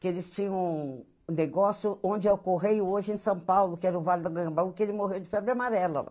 Que eles tinham um negócio onde é o Correio hoje em São Paulo, que era o Vale da Itanhangá, que ele morreu de febre amarela lá.